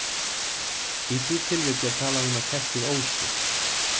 Í því tilviki er talað um að kertið ósi.